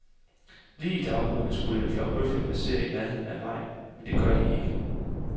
Lige i daggryet skulle en flok bøfler passere i nærheden af vejen, men det gør de ikke.